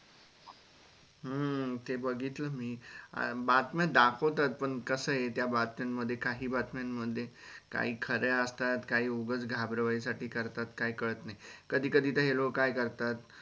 हम्म ते बघितलं मी बातम्या दाखवत पण कसं हे त्या बातम्यांमध्ये काही बातम्या मधे काही खऱ्या असतात काही उगाच घाबरवण्यासाठी करतात.